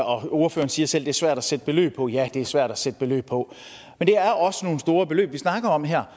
og ordføreren siger selv at det er svært at sætte beløb på ja det er svært at sætte beløb på men det er også nogle store beløb vi snakker om her